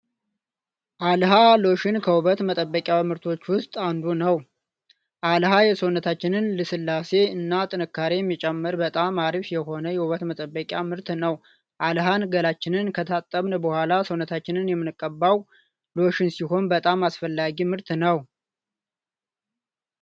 አልሀ ሎሽን ከውበት መጠበቂያ ምርቶች ውስጥ አንዱ ነው። አልሀ የሰውነታችንን ልስልሴ እና ጥንካሬ የሚጨምር በጣም አሪፍ የሆነ የውበት መጠበቂያ ምርት ነው። አልሀን ገላችንን ከታጠብን በኋላ ሰውነታችንን የምንቀባው ሎሽን ሲሆን በጣም አስፈላጊ ምርት ነው።